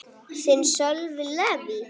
Þinn, Sölvi Leví.